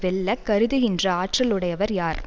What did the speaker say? வெல்ல கருதுகின்ற ஆற்றல் உடையவர் யார்